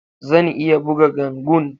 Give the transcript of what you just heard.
Zan iya buga ganguna.